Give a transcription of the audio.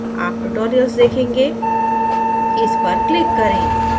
आप tutorials देखेंगे इस पर click करें